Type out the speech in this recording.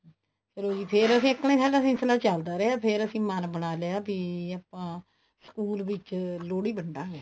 ਫ਼ੇਰ ਅਸੀਂ ਇਸ ਤਰ੍ਹਾਂ ਚੱਲਦਾ ਰਿਹਾ ਫ਼ੇਰ ਅਸੀਂ ਮਨ ਬਣਾ ਲਿਆ ਵੀ ਆਪਾਂ ਸਕੂਲ ਵਿੱਚ ਲੋਹੜੀ ਵੰਡਾਗੇ